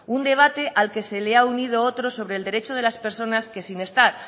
un debate al que se le ha unido otro sobre el derecho de las personas que sin estar